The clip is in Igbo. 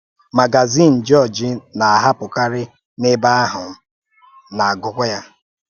Màgàzìn Jọ́ọ̀jì na-ahàpụ̀karị n’ebe ahụ́, m na-agụ́kwa ya.